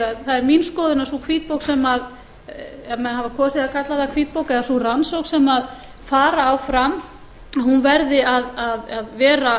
að það er mín skoðun að hvítbók sú ef menn hafa kosið að kalla það hvítbók eða sú rannsókn sem fara á fram hún verði að vera